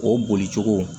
O bolicogo